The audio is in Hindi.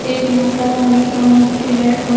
एक माता रानी का मूर्ति है औ--